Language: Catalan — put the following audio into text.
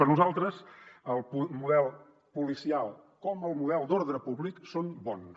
per nosaltres tant el model policial com el model d’ordre públic són bons